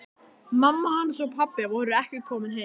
Mamma hans og pabbi voru ekki komin heim.